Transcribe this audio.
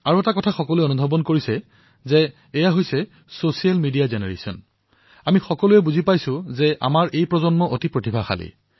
আৰু ব্যাপক ৰূপত এটা কথা সকলোৰে মনমগজুত এনেদৰে বহি গৈছে যে আমাৰ এই প্ৰজন্ম অতিশয় প্ৰতিভাশালী